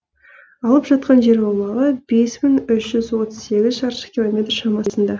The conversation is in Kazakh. алып жатқан жер аумағы бес мың үш жүз отыз сегіз шаршы километр шамасында